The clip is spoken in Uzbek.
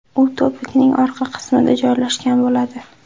U to‘piqning orqa qismida joylashgan bo‘ladi.